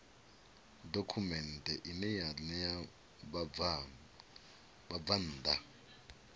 dokhumenthe ine ya ṋea vhabvann